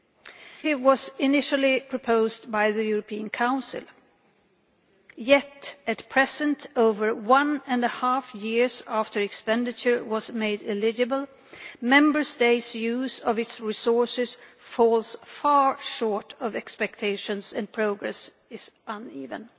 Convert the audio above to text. The initiative was initially proposed by the European Council, yet at present over one and a half years after expenditure was made eligible Member States' use of its resources falls far short of expectations, and progress is uneven.